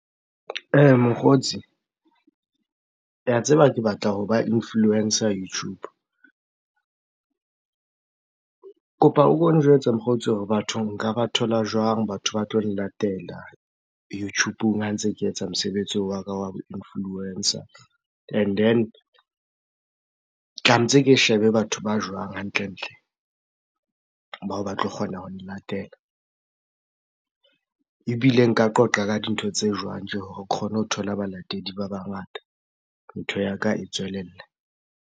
Mokgotsi, tseba ke batla ho ba influencer YouTube. Kopa o ko njwetse mokgotsi hore batho nka ba thola jwang batho ba tlo nlatela YouTube-ng ha ntse ke etsa mosebetsi wa ka wa bo influencer? And then, tlametse ke shebe batho ba jwang hantlentle? Bao ba tlo kgona ho nlatela. Ebile nka qoqa ka dintho tse jwang tje hore ke kgone ho thola balatedi ba bangata, ntho ya ka e tswelelle?